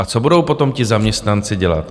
A co budou potom ti zaměstnanci dělat?